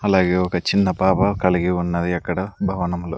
అలాగే ఒక చిన్న పాప కలిగి ఉన్నది అక్కడ భవనంలో.